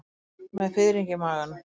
Með fiðring í maganum.